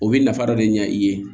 O bɛ nafa dɔ de ɲɛ i ye